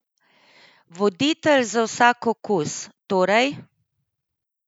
Voditelj za vsak okus, torej?